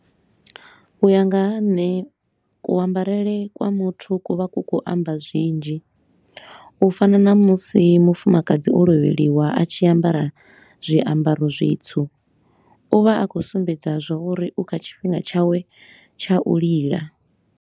U ya nga ha nṋe ku ambarele kwa muthu ku vha ku khou amba zwinzhi, u fana na musi mufumakadzi o lovheliwa a tshi ambara zwiambaro zwitsu. U vha a khou sumbedza zwa uri u kha tshifhinga tshawe tsha u lila.